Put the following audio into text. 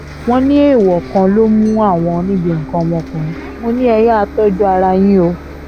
wọ́n ní èèwọ̀ kan ló mú àwọn níbi nǹkan ọmọkùnrin mọ́ ni ẹ yáa tọ́jú ara yín o